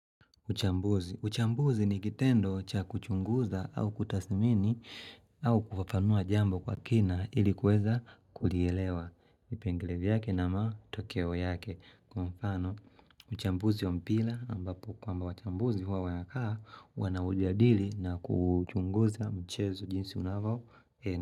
Uchambuzi. Uchambuzi ni kitendo cha kuchunguza au kutasimini au kufafanua jambo kwa kina ilikuweza kulielewa vipengele vyake na matokeo yake. Kwa mfano, uchambuzi wa mpila ambapo kwaamba wachambuzi huwa wanaka wana ujadili na kuchunguza mchezo jinsi unavao ene.